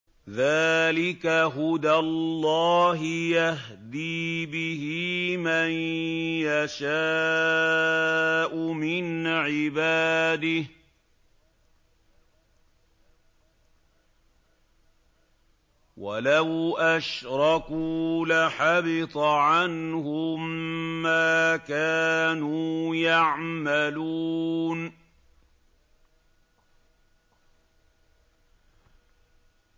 ذَٰلِكَ هُدَى اللَّهِ يَهْدِي بِهِ مَن يَشَاءُ مِنْ عِبَادِهِ ۚ وَلَوْ أَشْرَكُوا لَحَبِطَ عَنْهُم مَّا كَانُوا يَعْمَلُونَ